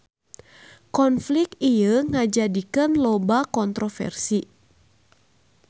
Konflik ieu ngajadikeun loba kontroversi.